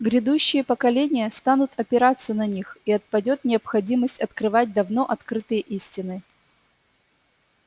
грядущие поколения станут опираться на них и отпадёт необходимость открывать давно открытые истины